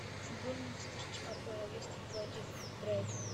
футбольная встреча апл лестер против брайтон